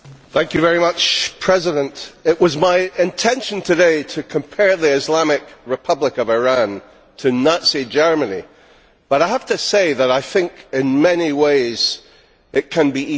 Mr President, it was my intention today to compare the Islamic Republic of Iran to Nazi Germany but I have to say that I think in many ways, it can be even worse.